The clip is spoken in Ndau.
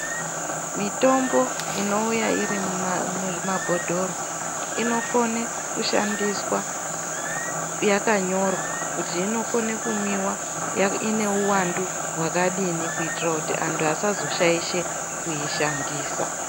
Mitombo inouya iri muzvimabhotoro inokona kushandiswa yakanyorwa kuti inokona kumwiwa ine uwandu wakadii kuitira kuti vantu vazoishandisa.